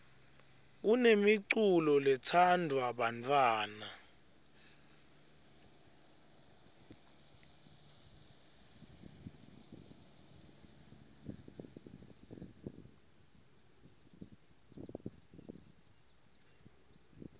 kunemiculo letsandvwa bantfwana